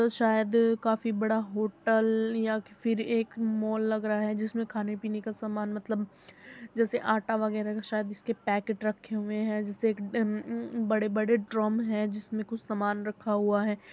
जो शायद काफी बड़ा होटल या किसी फिर एक मॉल लग रहा है जिस में खाने पिने का सामान मतलब जेसे आटा वगेरा शायद इसके पेकेट रखे हुए हैं जिस अम अम बड़े-बड़े ड्रम है जिस में कुछ सामना रखा हुआ है।